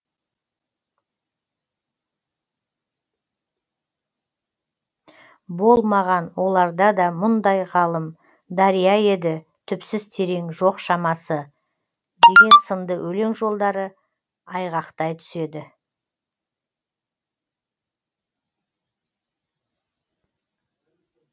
болмаған оларда да мұндай ғалым дария еді түпсіз терең жоқ шамасы деген сынды өлең жолдары айғақтай түседі